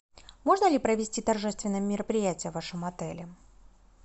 можно ли провести торжественное мероприятие в вашем отеле